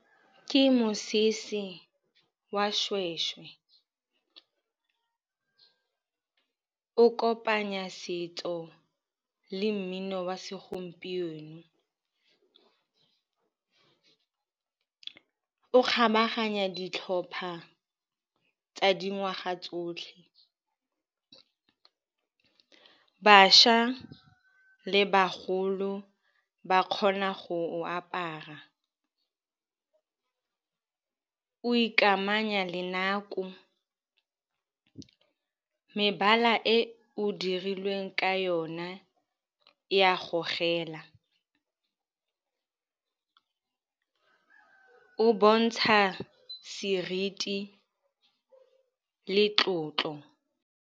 Ke mosese wa seshweshwe o kopanya setso le mmino wa segompieno. O kgabaganya ditlhopha tsa dingwaga tsotlhe. Bašwa le bagolo ba kgona go o apara, o ikamanya le nako. Mebala e o dirilweng ka yona e a gogela. O bontsha seriti le tlotlo.